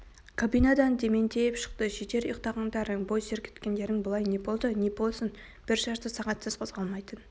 кабинадан дементьев шықты жетер ұйықтағандарың бой сертігіңдер былай не болды не болсын бір жарты сағатсыз қозғалмайтын